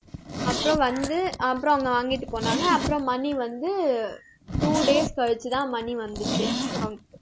அப்புறம் வந்து, அப்புறம் அவங்க வாங்கிட்டு போனாங்க. அப்புறம் money வந்து two days கழிச்சுதான் money வந்துச்சு